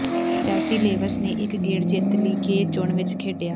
Stacey Lewis ਨੇ ਇਕ ਗੇੜ ਜਿੱਤ ਲਈ ਗੇ ਚੁਣ ਵਿਚ ਖੇਡਿਆ